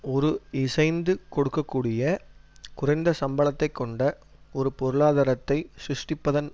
ஒரு இசைந்து கொடுக்க கூடிய குறைந்த சம்பளத்தைக் கொண்ட ஒரு பொருளாதாரத்தை சிருஷ்டிப்பதன்